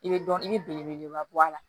I bɛ dɔn i bɛ belebeleba bɔ a la